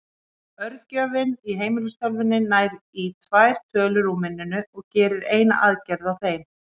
Örgjörvinn í heimilistölvunni nær í tvær tölur úr minninu og gerir eina aðgerð á þeim.